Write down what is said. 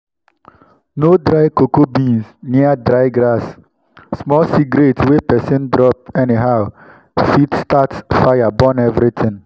no dry cocoa beans near dry grass—small cigarette wey person drop anyhow fit start fire burn everything.